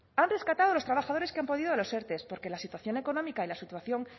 han rescatado a los trabajadores que han podido los erte porque la situación económica y la situación